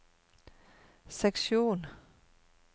seksjon